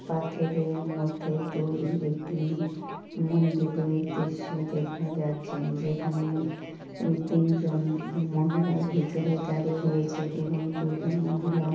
পাথরের মধ্যে তৈরি একটি মন্দিরের দৃশ্য দেখা যাচ্ছে .যেখানে তিনজন মহিলা ভেতরে দাঁড়িয়ে রয়েছে এবং দুজন মহিলা--